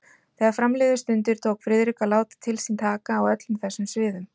Þegar fram liðu stundir, tók Friðrik að láta til sín taka á öllum þessum sviðum.